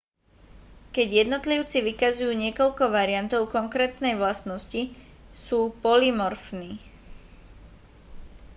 keď jednotlivci vykazujú niekoľko variantov konkrétnej vlastnosti sú polymorfní